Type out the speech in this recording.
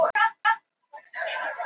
Hráolía hækkar í verði